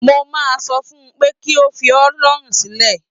Mo máa sọ fún un pé kí ó fi ọ́ lọ́rùn sílẹ̀